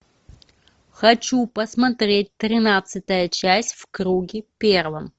хочу посмотреть тринадцатая часть в круге первом